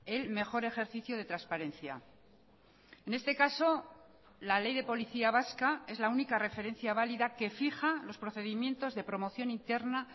el mejor ejercicio de transparencia en este caso la ley de policía vasca es la única referencia válida que fija los procedimientos de promoción interna